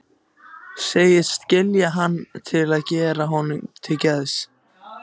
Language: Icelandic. Segist skilja hann til að gera honum til geðs.